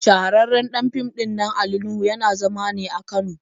Shahararren ɗan fim ɗinnan Ali Nuhu yana zama ne a Kano.